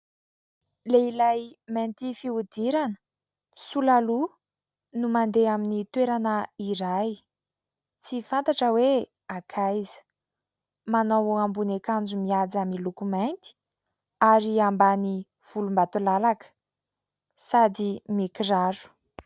Lehilahy mainty fihodirana, sola loha no mandeha amin'ny toerana iray tsy fantatra hoe ankaiza ? Manao ambony akanjo mihaja ary loko mainty ary ambany volombatolalaka ; sady mikiraro.